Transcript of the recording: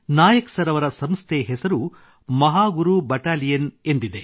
Nayak sir ಅವರ ಸಂಸ್ಥೆ ಹೆಸರು ಮಹಾಗುರು ಬೆಟಾಲಿಯನ್ ಎಂದಿದೆ